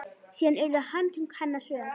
Síðan urðu handtök hennar hröð.